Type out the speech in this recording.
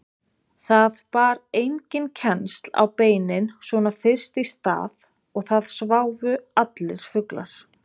Það bar enginn kennsl á beinin svona fyrst í stað og það sváfu allir fuglar.